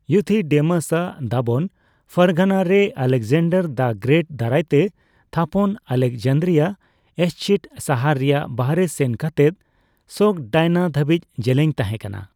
Euthydemus ᱟᱜ ᱫᱟᱵᱚᱱ Fergana ᱨᱮ ᱟᱞᱮᱠᱡᱟᱱᱰᱟᱨ ᱫᱟ ᱜᱨᱮᱹᱴ ᱫᱟᱨᱟᱭᱛᱮ ᱛᱷᱟᱯᱚᱱ ᱟᱞᱮᱠᱡᱟᱱᱫᱨᱤᱭᱟ ᱮᱥᱪᱤᱴ ᱥᱟᱦᱟᱨ ᱨᱮᱭᱟᱜ ᱵᱟᱦᱨᱮ ᱥᱮᱱ ᱠᱟᱛᱮᱫ ᱥᱚᱜᱽᱰᱟᱭᱟᱱᱟ ᱫᱷᱟᱹᱵᱤᱡ ᱡᱮᱞᱮᱧ ᱛᱟᱦᱮᱸᱠᱟᱱᱟ ᱾